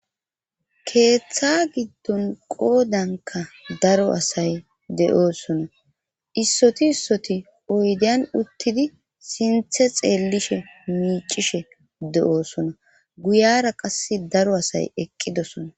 Keeththa giddon qoodanka daro asay de'oosona issoti issoti oydiyan uttidi sinthe xeellishe miicishe de7oosona guyara qas daro asay eqqidosona.